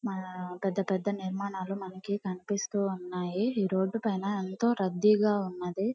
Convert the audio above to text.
ఆ పెద్ద పెద్ద నిర్మాణాలు మనకు కనిపిస్తున్నాయి ఈ రోడ్ పైన ఎంతో రద్దీగా ఉన్నదీ.